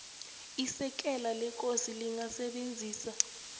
isekela lekosi lingasebenzisa